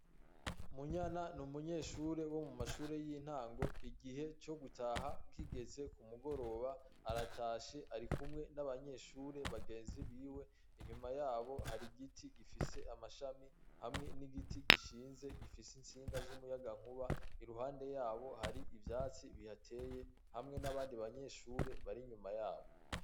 Munyana ni umunyeshure wo mu mashure y'intango igihe co gutaha kigeze ku mugoroba aratashe ari kumwe n'abanyeshure bagenzi biwe inyuma yabo hari igiti gifise amashami hamwe n'igiti gishinze gifise insinga z'umuyaga nkuba iruhande yabo hari ivyatsi bihateye hamwe n'abandi banyeshure bari inyuma yabo.